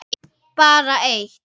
Bara eitt